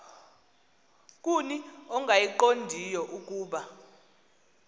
kuni ongayiqondiyo ukuba